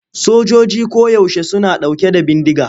Sojojoji koyaushe suna ɗauke da bindiga.